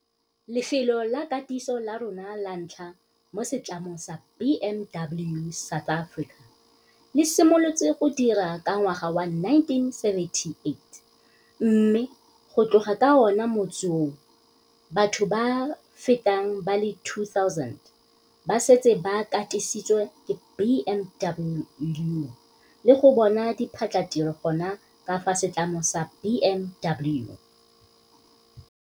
Lefelo la katiso la rona la ntlha mo setlamong sa BMW South Africa le simolotse go dira ka ngwaga wa 1978 mme go tloga ka ona motsi oo, batho ba feta ba le 2 000 ba setse ba katisitswe ke BMW le go bona diphatlhatiro gona ka fa setlamong sa BMW.